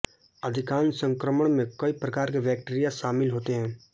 अधिकांश संक्रमण में कई प्रकार के बैक्टीरिया शामिल होते हैं